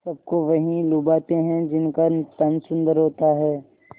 सबको वही लुभाते हैं जिनका तन सुंदर होता है